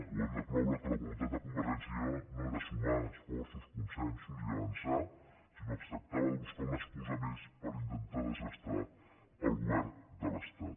o hem de cloure que la voluntat de convergència i unió no era sumar esforços consensos i avançar sinó que es trac·tava de buscar una excusa més per intentar desgastar el govern de l’estat